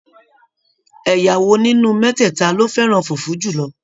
Ẹyà wo nínú mẹtẹta lo fẹràn fufu julọ?